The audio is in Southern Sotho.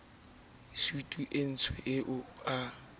sutu e ntsho eo a